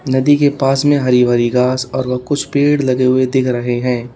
नदी के पास में हरी भरी घास और कुछ पेड़ लगे हुए दिख रहे हैं।